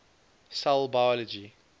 cell biology